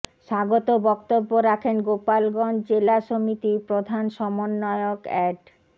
স্বাগত বক্তব্য রাখেন গোপালগঞ্জ জেলা সমিতির প্রধান সমন্বয়ক এ্যাড